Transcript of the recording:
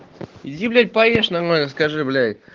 иди блять поешь нормально скажи блять